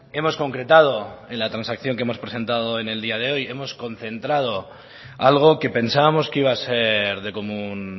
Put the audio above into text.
hemos concretado en la transacción que hemos presentado en el día de hoy hemos concentrado algo que pensábamos que iba a ser de común